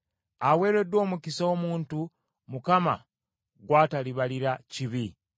Aweereddwa omukisa omuntu, Mukama gw’atalibalira kibi.”